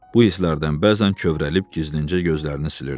Bu hisslərdən bəzən kövrəlib gizlincə gözlərini silirdi.